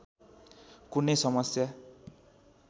कुनै समस्या